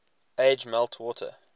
age melt water